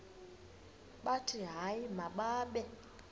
bathi hayi mababe